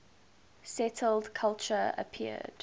settled culture appeared